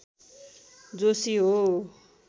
जोशी हो